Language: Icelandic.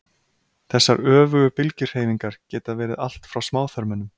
þessar öfugu bylgjuhreyfingar geta verið allt frá smáþörmunum